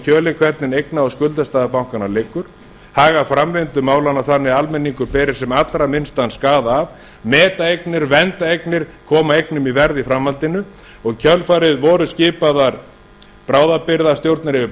kjölinn hvernig eigna og skuldastaða bankanna liggur haga framvindu málanna þannig að almenningur beri sem allra minnstan skaða af meta eignir vernda eignir koma eignum í verð í framhaldinu og í kjölfarið voru skipaðar bráðabirgðastjórnir yfir